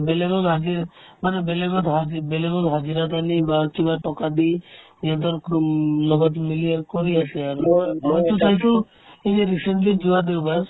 বেলেগক দিয়ে মানে বেলেগক ভৰাই দি বেলেগেক hospital ৰ পৰা নি বা কিবা টকা দি সিহঁতৰ লগত মিলি আৰু কৰি আছে আৰু মইতো পাইছো এই যে recently যোৱা দেওবাৰ